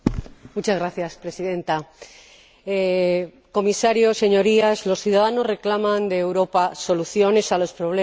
Señora Presidenta, Señor Comisario, Señorías, los ciudadanos reclaman de Europa soluciones a los problemas